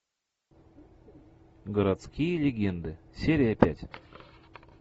городские легенды серия пять